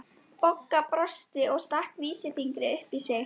Bogga brosti og stakk vísifingri upp í sig.